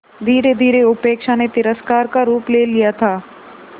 धीरेधीरे उपेक्षा ने तिरस्कार का रूप ले लिया था